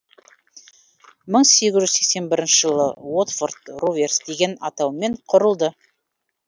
мың сегіз жүз сексен бірінші жылы уотфорд роверс деген атаумен құрылды